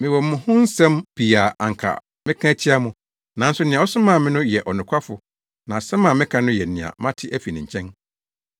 Mewɔ mo ho nsɛm pii a anka mɛka atia mo. Nanso nea ɔsomaa me no yɛ ɔnokwafo na asɛm a meka no yɛ nea mate afi ne nkyɛn.”